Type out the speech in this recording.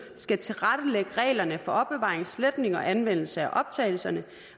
skal tilrettelægge regler for opbevaring sletning og anvendelse af optagelserne